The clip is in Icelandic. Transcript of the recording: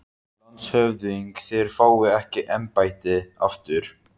LANDSHÖFÐINGI: Þér fáið ekki embættið aftur